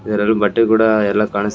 ಇದ್ರಲ್ ಬಟ್ಟೆ ಕೂಡ ಎಲ್ಲಾ ಕಾಣಸ್ --